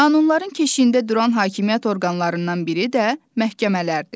Qanunların keşiyində duran hakimiyyət orqanlarından biri də məhkəmələrdir.